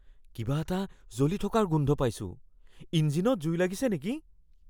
কিবা এটা জ্বলি থকাৰ গোন্ধ পাইছোঁ। ইঞ্জিনত জুই লাগিছে নেকি?